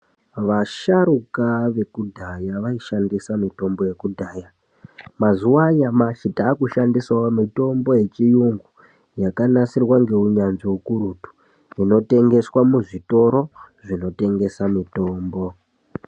Vasharuka vekudaya vanoshandisa mitombo yakudaya. Mazuwanyamashe takushandisawo mitombo yechiyungu yakanasirwa ngewunyazvi wukurutu. Unotengeswa muzvitoro zvinotengesa mutombo.